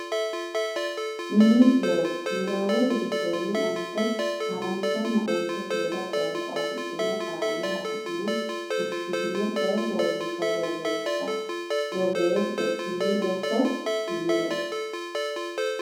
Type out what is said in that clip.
Mini Looso Niwaawete giddonni onte haranchonna onte seeda qoonqo afidhino qaalla hassine fushshitine coy fooliishsho borreesse Mini Looso Mini Looso.